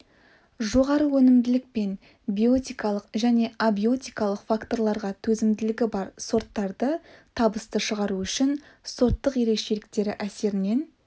жоғары өнімділік пен биотикалық және абиотикалық факторларға төзімділігі бар сорттарды табысты шығару үшін сорттық ерекшеліктері әсерінен